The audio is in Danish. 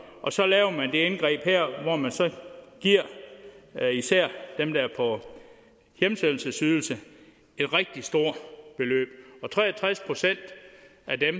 så laver man det her indgreb hvor man så giver især dem der er på hjemsendelsesydelse et rigtig stort beløb tre og tres procent af